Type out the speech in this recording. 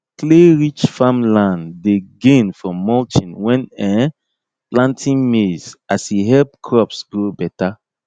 clayrich farmland dey gain from mulching when um planting maize as e help crops grow better